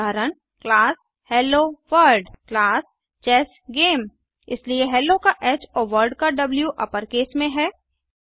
उदाहरण160 class hello world class chess game इसलिए hello का ह और वर्ल्ड का द्व अपरकेस में है